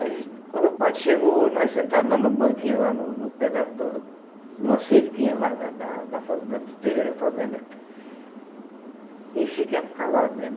Aí quando o padre chegou, nós sentados lá no banquinho lá no no pé da do numa cerquinha lá, no acervo que tinha lá do terreiro da fazenda, e fiquemos calados, né?